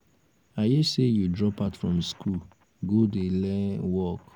i hear say you drop out from school go dey um learn um work